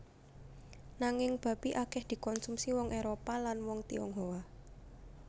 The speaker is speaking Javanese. Nanging babi akèh dikonsumsi wong Éropah lan wong Tionghoa